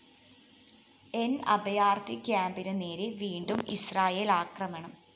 ന്‌ അഭയാര്‍ത്ഥി ക്യാമ്പിനു നേരെ വീണ്ടും ഇസ്രായേല്‍ ആക്രമണം